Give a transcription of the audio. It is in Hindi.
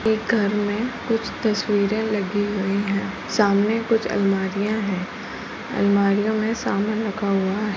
एक घर में कुछ तस्वीरे लगी हुई हैं। सामने कुछ अलमारियां है अलमारियों मे कुछ समान रखा हुआ हैं।